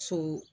So